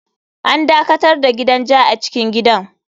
An dakatar da gidan ja a cikin gidan.